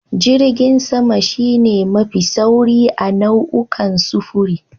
Jirgin sama shi ne mafi sauri a nau'ukan sufuri.